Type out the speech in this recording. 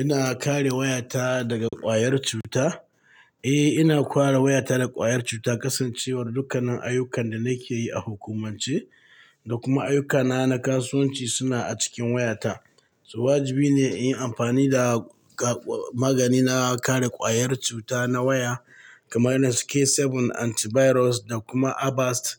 Ina kare wayata daga ƙwayar cuta? Eh, ina kware wayata da ƙwayar cuta kasancewar dukkanan ayyukan da nake yi a hukumance da kuma ayyukana na kasuwanci suna a cikin wayata. To, wajibi ne in yi ampani da ka-magani na kare ƙwayar cuta na waya kamar irin su k sabun antibiros da kuma Abast